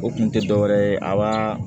O kun tɛ dɔ wɛrɛ ye a ba